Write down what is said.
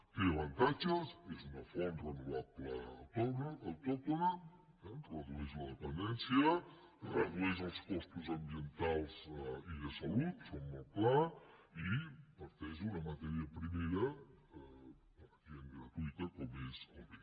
té avantatges és una font renovable autòctona redueix la dependència redueix els costos ambientals i de salut això és molt clar i parteix d’una matèria primera pràcticament gratuïta com és el vent